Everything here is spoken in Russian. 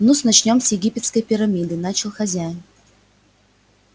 ну-с начнём с египетской пирамиды начал хозяин